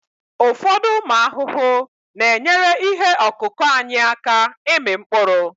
ụfọdụ ụmụ ahụhụ na-enyere ihe ọkụkụ anyị aka ịmị mkpụrụ